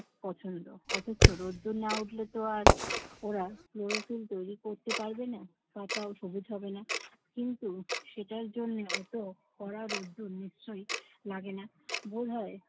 পছন্দ। অথচ রোদ্দুর না উঠলেতো আর ওরা ক্লোরোফিল তৈরি করতে পারবে না, পাতাও সবুজ হবে না। কিন্তু সেটার জন্য অত কড়া রোদ্দুর নিশ্চয়ই লাগে না। ভোর হয়